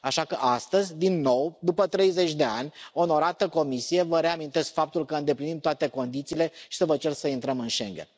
Așa că astăzi, din nou, după 30 de ani, onorată Comisie, vă reamintesc faptul că îndeplinim toate condițiile și să vă cer să intrăm în Schengen.